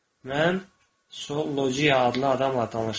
Mən Sollojia adlı adamla danışdım.